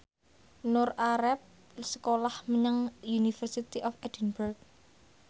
Nur arep sekolah menyang University of Edinburgh